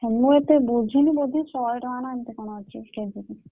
ମୁଁ ଏତେ ବୁଝିନି ବୋଧେ ଶହେ ଟଙ୍କା ନା ଏମତି କଣ ଅଛି KG କି।